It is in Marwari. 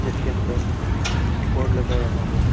इसके अंदर बोर्ड लगाया हुआ है एक।